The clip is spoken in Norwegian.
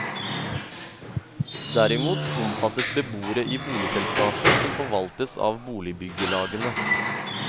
Derimot omfattes beboere i boligselskaper som forvaltes av boligbyggelagene.